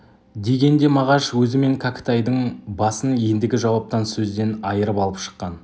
деген де мағаш өзі мен кәкітайдың басын ендігі жауаптан сөзден айырып алып шыққан